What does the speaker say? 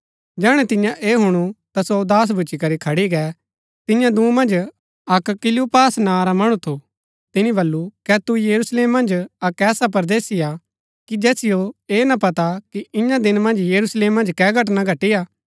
जैहणै तियें ऐह हुणु ता सो उदास भूच्ची करी खड़ी गै तियां दूँ मन्ज अक्क क्‍लियुपास नां रा मणु थू तिनी बल्लू कै तू यरूशलेम मन्ज अक्क ऐसा परदेसी हा कि जैसियो ऐह ना पता कि ईयां दिना मन्ज यरूशलेम मन्ज कै घटना घटिआ